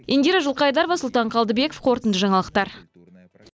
индира жылқайдарова сұлтан қалдыбеков қорытынды жаңалықтар